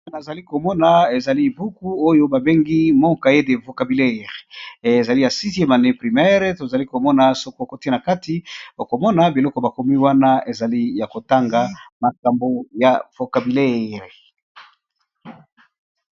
Awa tozali komona ezali buku oyo babengi moka ete vocabileire ezali ya 6iie manei primere tozali komona soko kotina kati okomona biloko bakomi wana ezali ya kotanga makambo ya vocabulaire.